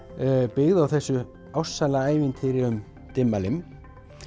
byggð á þessu ástsæla ævintýri um Dimmalimm